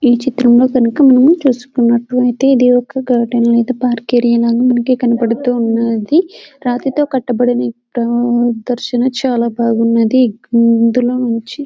ఈ చిత్రం లో గనుక మనం చుస్కునట్టైతే ఇది ఒక గార్డెన్ లేదా పార్క్ ఏరియా లాగా మనకు కనపడుతూ ఉన్నది రాతితో కట్టిన ఈ ప్రదర్శన చాలా బాగున్నది ఇందులో నుంచి.